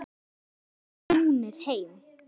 Nú væru þeir snúnir heim.